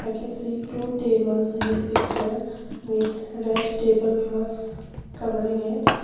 i can see two tables in this picture with red table clothes covering it.